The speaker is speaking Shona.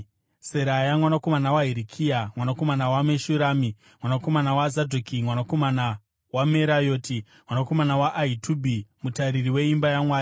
Seraya mwanakomana waHirikia, mwanakomana waMeshurami, mwanakomana waZadhoki, mwanakomana waMerayoti, mwanakomana waAhitubhi, mutariri weimba yaMwari,